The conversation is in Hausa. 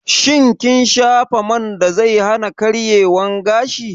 Shin kin shafa man da zai hana karyewan gashi?